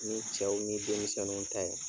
Ni cɛw ni denmisɛnnu ta ye